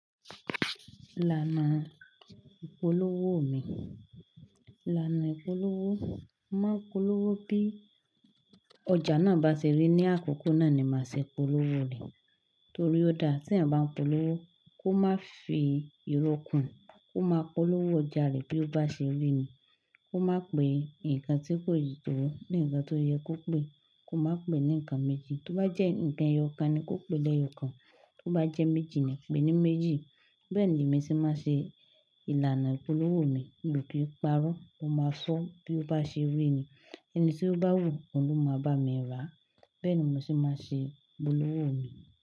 Ìlànà ìpolówó mi, ìlànà ìpolówó, mo maa n polówó bí ọjà náà bá ṣe rí ní àkókò náà ni màá ṣe polówó rẹ̀ torí ó dáa. Tí eeyan bá ń polówó kó má fi ìrókùn, kó má polówó ọjà rẹ̀ bí ó bá ṣe rí ni. Kó má pè nǹkan tí kò le tòó ní ǹkan tó yẹ kó pè. Kó má pè ní ǹkan méjì. Tó bá jẹ́ ǹkan ẹyọ kan ni kó pè ẹ́ lẹ́yọ kan. Tó bá jẹ́ méjì ni kó pè é ní méjì. Bẹ́ẹ̀ ni èmi ti máa ṣe ìlànà ìpolówó mi mi o kín parọ Ó máa fọ́ bí ó bá ṣe rí ni. Ẹni tí ó bá wù ó ló máa bá mi rà á. Bẹ́ẹ̀ ni mo ti máa ṣe ìpolówó mi.